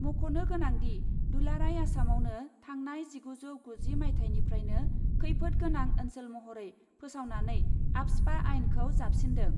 मख'नो गोनांदि, दुलाराय आसामावनो थांनाय जिगुजौ गुजि माइथायनिफ्रायनो खैफोद गोनां ओन्सोल महरै फोसावनानै आफ्सपा आइनखौ जाबसिन्दों ।